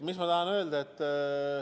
Mis ma tahan öelda?